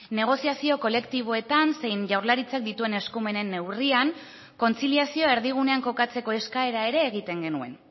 negoziazio kolektiboetan zein jaurlaritzak dituen eskumenen neurrian kontziliazioa erdigunean kokatzeko eskaera ere egiten genuen